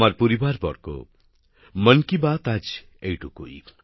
আমার পরিবারবর্গ মন কি বাতএ আজ এইটুকুই